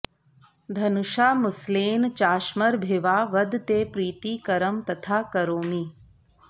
धनुषा मुसलेन चाश्मभिर्वा वद ते प्रीतिकरं तथा करोमि